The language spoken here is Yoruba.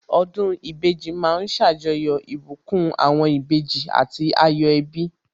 Ọdún ìbejì ma ń ṣàjọyọ̀ ìbùkún àwọn ìbejì àti ayọ̀ ẹbí